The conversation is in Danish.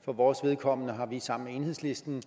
for vores vedkommende har vi sammen med enhedslisten